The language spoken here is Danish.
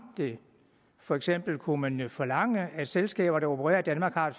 det for eksempel kunne man jo forlange at selskaber der opererer i danmark har